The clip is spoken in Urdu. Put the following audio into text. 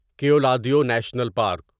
Keoladeo national park